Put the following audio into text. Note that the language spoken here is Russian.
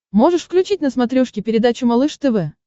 можешь включить на смотрешке передачу малыш тв